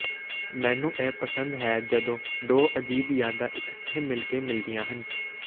ਮੈਨੂੰ ਇਹ ਪਸੰਦ ਹੈ ਜਦੋਂ ਦੋ ਅਜੀਬ ਯਾਦਾਂ ਇਕੱਠੇ ਮਿਲ ਕੇ ਮਿਲਦੀਆਂ ਹਨ